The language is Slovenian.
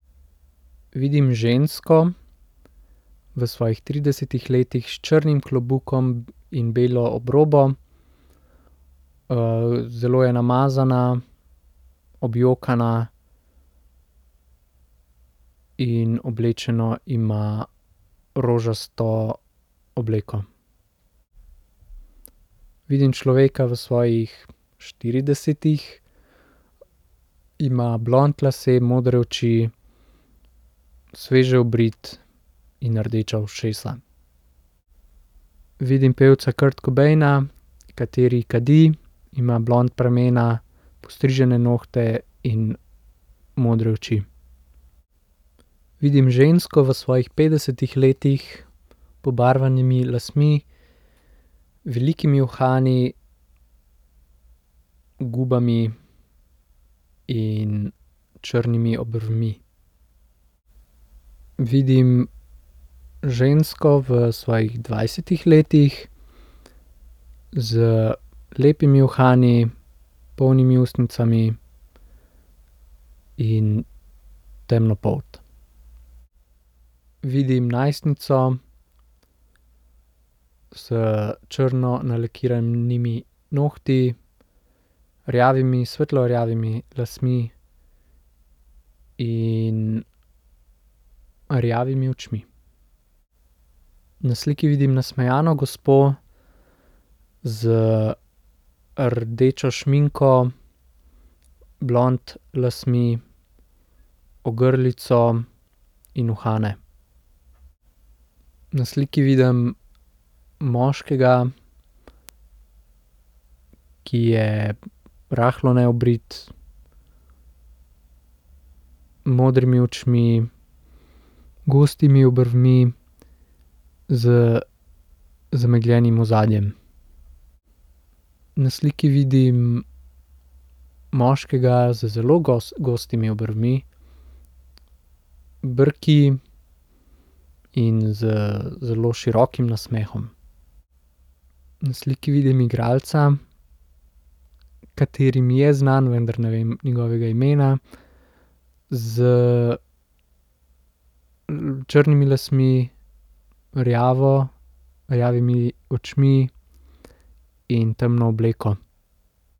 Vidim žensko v svojih tridesetih letih s črnim klobukom in belo obrobo. zelo je namazana, objokana in oblečeno ima rožasto obleko. Vidim človeka v svojih štiridesetih. Ima blond lase, modre oči, sveže obrit in rdeča ušesa. Vidim pevca Kurt Cobaina, kateri kadi, ima blond pramene, postrižene nohte in modre oči. Vidim žensko v svojih petdesetih letih, pobarvanimi lasmi, velikimi uhani, gubami in črnimi obrvmi. Vidim žensko v svojih dvajsetih letih z lepimi uhani, polnimi ustnicami in temno polt. Vidim najstnico s črno nalakiranimi nohti, rjavimi, svetlo rjavimi lasmi in rjavimi očmi. Na sliki vidim nasmejano gospo z rdečo šminko, blond lasmi, ogrlico in uhane. Na sliki vidim moškega, ki je rahlo neobrit, modrimi očmi, gostimi obrvmi, z zamegljenim ozadjem. Na sliki vidim moškega z zelo gostimi obrvmi, brki in z zelo širokim nasmehom. Na sliki vidim igralca, kateri mi je znan, vendar ne vem njegovega imena, s črnimi lasmi, rjavo, rjavimi očmi in temno obleko.